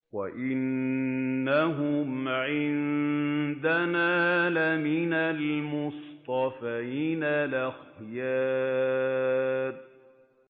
وَإِنَّهُمْ عِندَنَا لَمِنَ الْمُصْطَفَيْنَ الْأَخْيَارِ